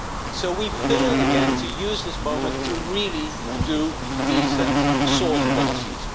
So we fail again to use this moment to really make decent source policies.